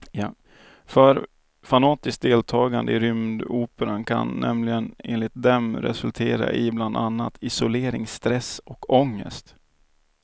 För fanatiskt deltagande i rymdoperan kan nämligen enligt dem resultera i bland annat isolering, stress och ångest.